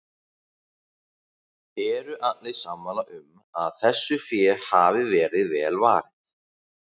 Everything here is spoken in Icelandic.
Eru allir sammála um að þessu fé hafi verið vel varið?